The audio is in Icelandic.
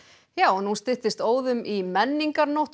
nú styttist óðum í menningarnótt og